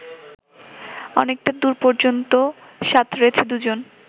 অনেকটা দূর পর্যন্ত সাঁতরেছে দুজন